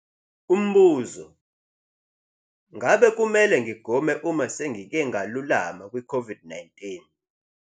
Umbuzo- Ngakube kumele ngigome uma sengike ngalulama kwiCOVID-19?